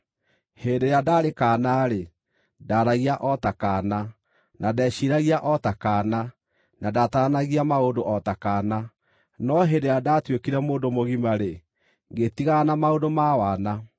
Hĩndĩ ĩrĩa ndaarĩ kaana-rĩ, ndaaragia o ta kaana, na ndeeciiragia o ta kaana, na ndaataranagia maũndũ o ta kaana. No hĩndĩ ĩrĩa ndaatuĩkire mũndũ mũgima-rĩ, ngĩtigana na maũndũ ma wana.